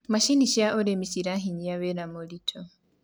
macinĩ cia ũrĩmi ciranyihia wira mũritũ